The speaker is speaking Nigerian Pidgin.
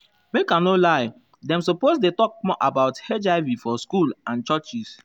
make i no lie dem suppose dey talk more about hiv for school and churches.